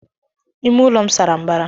Ímé ụlọ m sárá mbara.